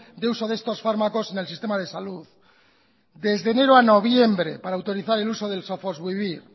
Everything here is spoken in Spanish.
de uso de estos fármacos en el sistema de salud desde enero a noviembre para autorizar el uso del sofosbuvir